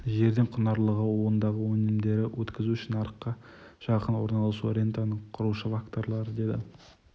жердің құнарлылығы ондағы өнімдерді өткізу үшін нарыққа жақын орналасуы рентаны құрушы факторлар деді